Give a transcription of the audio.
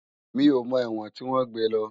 Mi ó mò èwòn tiwòn gbé lò